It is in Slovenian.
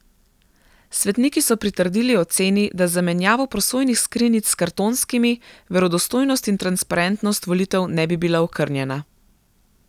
Svetniki so pritrdili oceni, da z zamenjavo prosojnih skrinjic s kartonskimi verodostojnost in transparentnost volitev ne bi bila okrnjena.